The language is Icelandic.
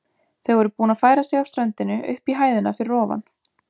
Þau voru búin að færa sig af ströndinni upp í hæðina fyrir ofan.